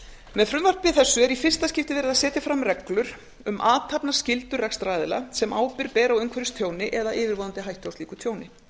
með frumvarpi þessu er í fyrsta skipti verið að setja fram reglur um athafnaskyldur rekstraraðila sem ábyrgð ber á umhverfistjóni eða yfirvofandi hættu á slíku tjóni